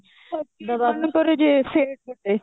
set ଗୋଟେ